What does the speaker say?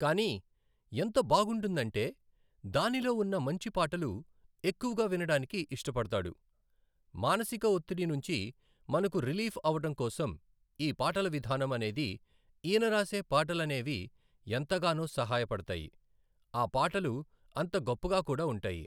కానీ ఎంత బాగుంటుందంటే దానిలో ఉన్న మంచి పాటలు ఎక్కువగా వినడానికి ఇష్టపడతాడు. మానసిక ఒత్తిడి నుంచి మనకు రిలీఫ్ అవ్వటం కోసం ఈ పాటల విధానం అనేది ఈయన రాసే పాటలనేవి ఎంతగానో సహాయపడతాయి. ఆ పాటలు అంత గొప్పగా కూడా ఉంటాయి